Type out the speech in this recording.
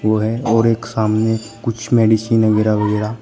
वो है और एक सामने कुछ मेडिसिन अगैरा वगैरा--